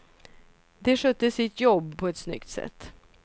De skötte sitt jobb på ett snyggt sätt.